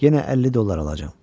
Yenə 50 dollar alacam.